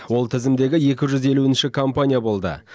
ол тізімдегі екі жүз елуінші компания болды